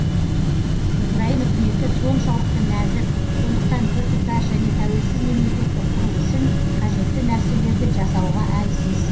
украин үкіметі соншалықты нәзік сондықтан біртұтас және тәуелсіз мемлекетті құру үшін қажетті нәрселерді жасауға әлсіз